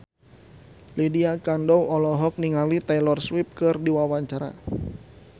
Lydia Kandou olohok ningali Taylor Swift keur diwawancara